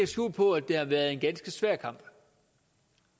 skjul på at det har været en ganske svær kamp